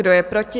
Kdo je proti?